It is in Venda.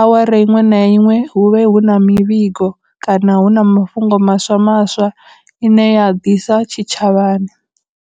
awara iṅwe na iṅwe hu vhe hu na mivhigo kana hu na mafhungo maswa maswa ine ya ḓisa tshitshavhani.